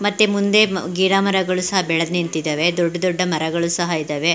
ಮತ್ತೆ ಮುಂದೆ ಗಿಡಮರಗಳು ಸಹ ಬೆಳೆದ್ ನಿಂತಿದವೆ. ದೊಡ್ಡ ದೊಡ್ಡ ಮರಗಳು ಸಹ ಇದವೆ.